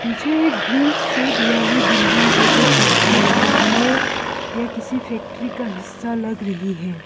पीछे एक green shade वाली बिल्डिंग है जो पत्थर तोड़ने या किसी फैक्ट्री का हिस्सा लग रही है।